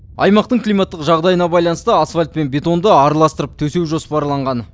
аймақтың климаттық жағдайына байланысты асфальт пен бетонды араластырып төсеу жоспарланған